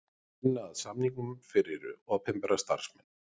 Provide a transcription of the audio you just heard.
Vinna að samningum fyrir opinbera starfsmenn